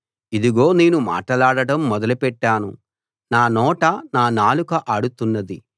ఇదిగో నేను మాటలాడడం మొదలుపెట్టాను నా నోట నా నాలుక ఆడుతున్నది